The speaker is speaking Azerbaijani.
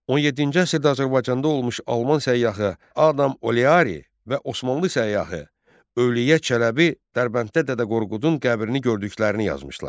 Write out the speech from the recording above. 17-ci əsrdə Azərbaycanda olmuş alman səyyahı Adam Oleari və Osmanlı səyyahı Övliya Çələbi Dərbənddə Dədə Qorqudun qəbrini gördüklərini yazmışlar.